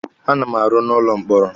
A na m arụ n'ụlọ mkpọrọ.